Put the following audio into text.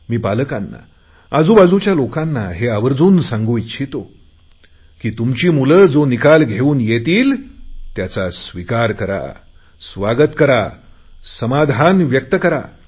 मी आजूबाजुच्या लोकांना पालकांना आवर्जुन सांगू इच्छितो की तुमची मुले जो निकाल घेऊन येतील त्याचा स्विकार करा स्वागत करा